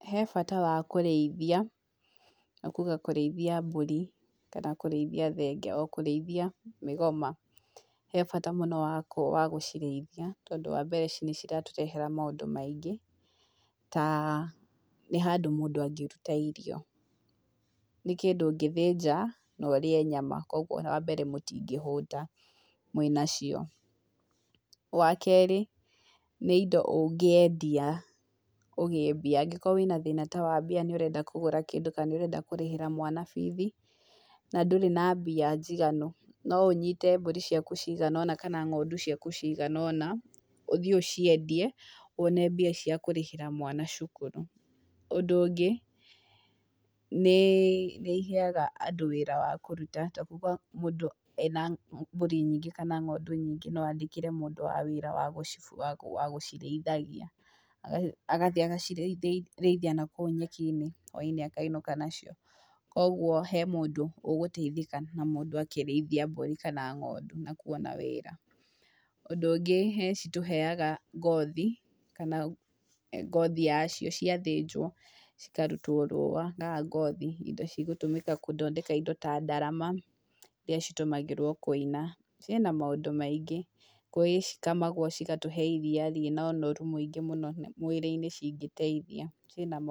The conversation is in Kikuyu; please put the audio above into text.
He bata wa kũrĩithia, ta kuga kũrĩithia mbũri, kana kũrĩithia thenge; o kũrĩithia mĩgoma. He bata mũno wa gũcirĩithia, tondũ wa mbere nĩ ciratũrehera maũndũ maingĩ ta nĩ handũ mũndũ angĩruta irio. Nĩ kĩndũ ũngĩthĩnja na ũrĩe nyama, kogwo wa mbere mũtingĩhũta mwĩ na cio. Wa keeri, nĩ indo ũngĩendia ũgĩe mbia. Angĩkorwo wĩ na thĩna ta wa mbia nĩ ũrenda kũgũra kĩndũ, kana nĩ ũrenda kũrĩhĩra mwana bithi, na ndũrĩ na mbia njiganu no ũnyite mbũri ciaku cigana ũna kana ng'ondu ciaku cigana ũna ũthiĩ ũciendie wone mbia cia kũrĩhĩra mwana cukuru. Ũndũ ũngĩ nĩ iheaga andũ wĩra wa kũruta, ta kuga mũndũ ena mbũri nyingĩ kana ng'ondu nyingĩ no andĩkĩre mũndũ wa wĩra wa gũcirĩithagia, agathiĩ agacirĩithia na kũu nyeki-inĩ, hwainĩ akainũka nacio. Kogwo he mũndũ ũgũteithĩka na mũndũ akĩrĩithia mbũri na ng'ondu na kwona wĩra. Ũndũ ũngĩ ni citũheaga ngothi kana ngothi yacio ciathĩnjwo cikarutwo rũũa, kana ngothi, indo cigũtũmĩka gũthondeka indo ta ndarama iria citũmagĩrwo kũina, ciĩ na maũndũ maingĩ. Gwĩ cikamagwo cigatũhe iria rĩ na ũnoru mũingĩ mũno mwĩrĩ-inĩ cingĩteithia. Cirĩ na...